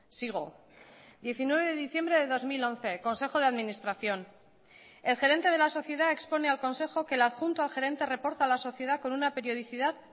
sigo diecinueve de diciembre de dos mil once consejo de administración el gerente de la sociedad expone al consejo que el adjunto al gerente reporta a la sociedad con una periodicidad